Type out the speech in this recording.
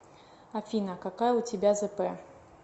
афина какая у тебя зп